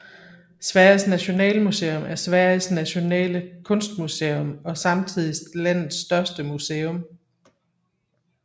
Sveriges Nationalmuseum er Sveriges nationale kunstmuseum og samtidig landets største museum